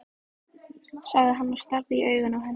sagði hann og starði í augun á henni.